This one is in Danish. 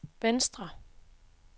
venstre